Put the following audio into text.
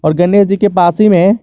गनेस जी के पास ही में--